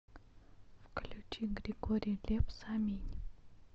включи григорий лепс аминь